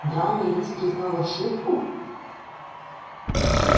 драный лис признал ошибку